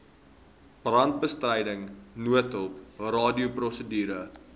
brandbestryding noodhulp radioprosedure